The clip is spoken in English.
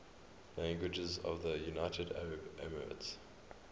languages of the united arab emirates